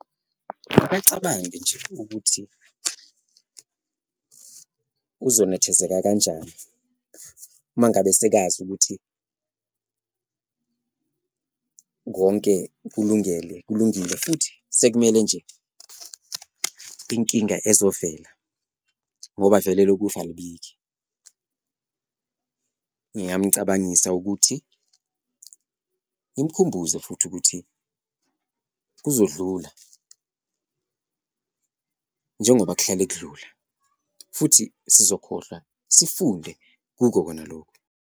Akacabange nje ukuthi uzonethezeka kanjani uma ngabe sekazi ukuthi konke kulungile futhi sekumele nje inkinga ezovela ngoba vele elokufa alibiki. Ngingamcabangisa ukuthi ngimkhumbuze futhi ukuthi kuzodlula njengoba kuhlale kudlula futhi sizokhohlwa, sifunde kuko kona loku.